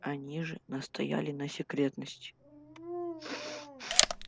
они же настояли на секретности